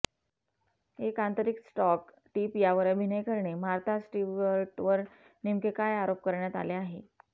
एक आंतरिक stock tip यावर अभिनय करणे मार्था स्टीवर्टवर नेमके काय आरोप करण्यात आले आहे